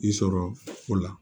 I sɔrɔ o la